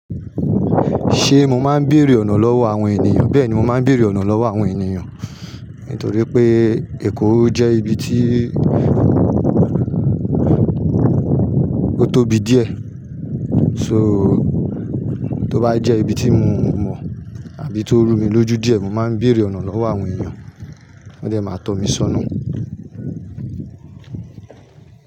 Ṣé mo máa ń béèrè ọ̀nà lọ́wọ́ àwọn ènìyàn? Bẹ́ẹ̀ni, mo máa ń béèrè ọ̀nà lọ́wọ́ àwọn ènìyàn. Nítorí pé Èkó jẹ́ ibi tí ó tóbi díẹ̀. So tó bá jẹ́ ibi tí mo mọ̀ àbí tó rú mi lójú díẹ̀, mo máa ń béèrè ọ̀nà lọ́wọ́ àwọn ènìyàn. Wọ́n de máa tọ́ mi sọ́nà.